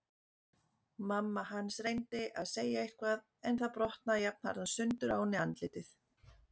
Mamma hans reyndi að segja eitthvað en það brotnaði jafnharðan sundur á henni andlitið.